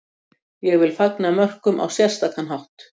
Ég vil fagna mörkum á sérstakan hátt.